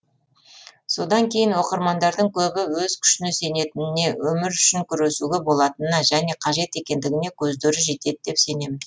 содан кейін оқырмандардың көбі өз күшіне сенетініне өмір үшін күресуге болатынына және қажет екендігіне көздері жетеді деп сенемін